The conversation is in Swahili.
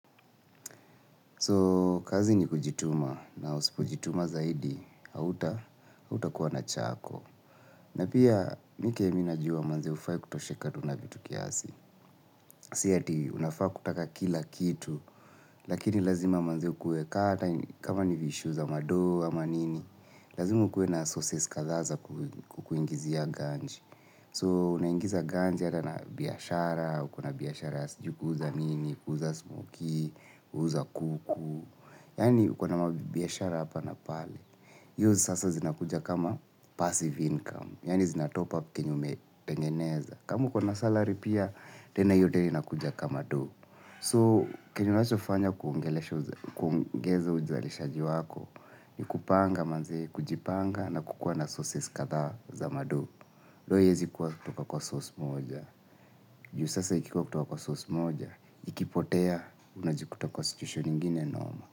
So, kazi ni kujituma na usipojituma zaidi, hautakuwa na chako. Na pia, mi kenye mi najua manze hufai kutosheka tu na vitu kiasi. Si ati, unafaa kutaka kila kitu, lakini lazima manze ukuwe kaa hata kama ni issue za mado ama nini. Lazima ukuwe na sources kadhaa za kukuingizia ganji. So, unaingiza ganji hata na biashara, uko na biashara ya sijui kuuza nini, kuuza smokie, kuuza kuku. Yaani uko na mabiashara hapa na pale. Hiyo sasa zinakuja kama passive income yaani zinatopup kenye umetengeneza. Kama uko na salary pia, tena iyo tena inakuja kama do. So, kenye unachofanya kuongeza ujalishaji wako. Ni kupanga manzee, kujipanga na kukuwa na sources kadhaa za mado. Though iezi kuwa kutoka kwa source moja. Juu sasa ikikuwa kutoka kwa source moja, ikipotea unajikuta kwa situation ingine noma.